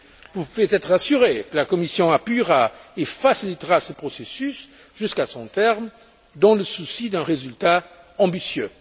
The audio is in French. Vous pouvez être assurés que la Commission appuiera et facilitera ce processus jusqu'à son terme dans le souci d'un résultat ambitieux.